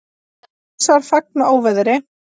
Rússar fagna óveðri